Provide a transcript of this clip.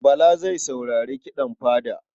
Bala zai saurari kiɗan fada.